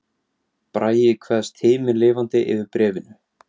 Bragi kveðst himinlifandi yfir bréfinu